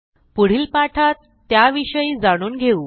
पुढील पाठात त्या विषयी जाणून घेऊ